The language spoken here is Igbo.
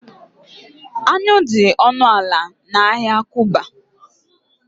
anyụ dị ọnụ ala na ahịa kuba